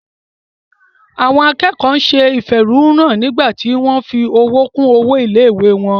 Àwọn akẹ́kọ̀ọ́ se ìfẹ̀hónúhàn nígbà tí wọ́n fi owó kún owó ilé-ìwé wọn.